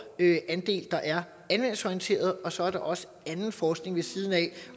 andel der er anvendelsesorienteret og så er der også anden forskning ved siden af